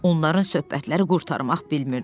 Onların söhbətləri qurtarmaq bilmirdi.